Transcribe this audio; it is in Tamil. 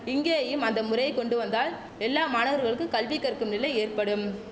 இங்கேயும் அந்த முறையை கொண்டு வந்தால் எல்லா மாணவர்களுக்கு கல்வி கற்கும் நிலை ஏற்படும்